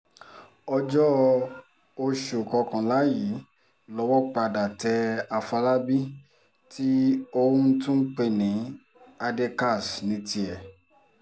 ọjọ́ oṣù kọkànlá yìí lowó padà tẹ àfọlábí tí ọ́n tún ń pè ní adékaz ní tiẹ̀